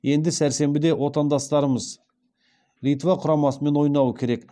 енді сәрсенбіде отандастарымыз литва құрамасымен ойнауы керек